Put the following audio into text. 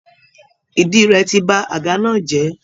Ìdí rẹ̀ ti ba àga náà jẹ́